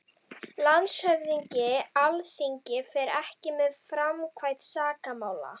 LANDSHÖFÐINGI: Alþingi fer ekki með framkvæmd sakamála.